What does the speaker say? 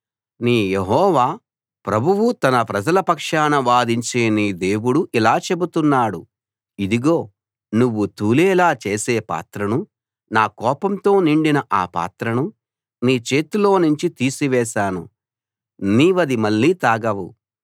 నీ యెహోవా ప్రభువు తన ప్రజల పక్షాన వాదించే నీ దేవుడు ఇలా చెబుతున్నాడు ఇదిగో నువ్వు తూలేలా చేసే పాత్రను నా కోపంతో నిండిన ఆ పాత్రను నీ చేతిలోనుంచి తీసివేశాను నీవది మళ్ళీ తాగవు